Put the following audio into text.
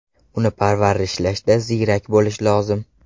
Uni parvarishlashda ziyrak bo‘lish lozim.